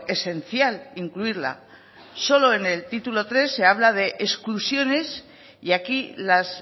esencial incluirla solo en el título tres se habla de exclusiones y aquí las